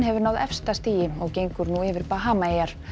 hefur náð efsta stigi og gengur nú yfir Bahamaeyjar